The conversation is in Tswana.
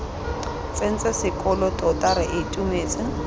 tsentse sekolo tota re itumetse